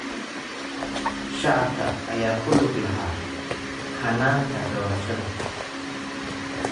Shacabka ayaa ku lug lahaa hannaanka doorashada.